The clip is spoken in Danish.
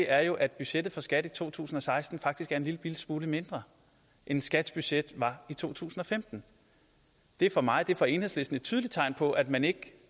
er jo at budgettet for skat i to tusind og seksten faktisk er en lillebitte smule mindre end skats budget var i to tusind og femten det er for mig det er for enhedslisten et tydeligt tegn på at man